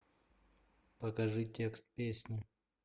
покажи текст песни